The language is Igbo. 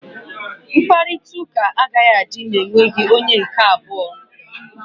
Mkparịta ụka agaghị adị ma e nweghị onye nke abụọ.